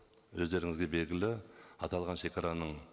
өздеріңізге белгілі аталған шегараның